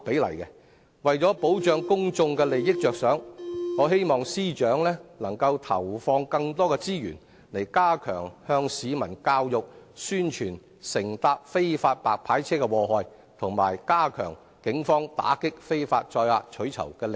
為保障公眾利益，我希望司長投放更多資源，加強向市民教育和宣傳乘搭非法白牌車的禍害，以及加強警方打擊非法載客取酬的力度。